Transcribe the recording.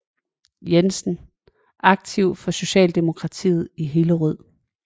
Jensen aktiv for socialdemokratiet i Hillerød